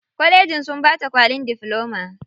Kwallejin sun bata kwalin difloma.